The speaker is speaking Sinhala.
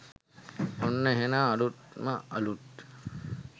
ඔන්න එහෙනම් අලුත්ම අලුත්